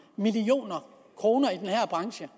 kroner i den her branche